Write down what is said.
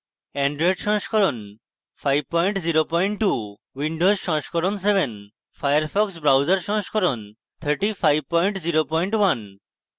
Android সংস্করণ 502